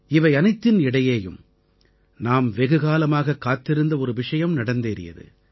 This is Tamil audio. இவை அனைத்தின் இடையேயும் நாம் வெகுகாலமாகக் காத்திருந்த ஒரு விஷயம் நடந்தேறியது